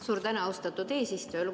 Suur tänu, austatud eesistuja!